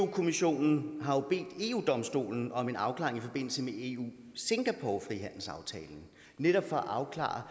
kommissionen har jo bedt eu domstolen om en afklaring i forbindelse med eu singapore frihandelsaftalen netop for at afklare